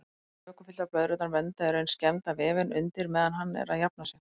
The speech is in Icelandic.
Vökvafylltar blöðrurnar vernda í raun skemmda vefinn undir meðan hann er að jafna sig.